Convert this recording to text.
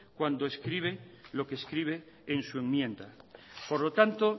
cuando escribe lo que escribe en su enmienda por lo tanto